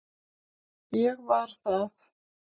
Ég var það.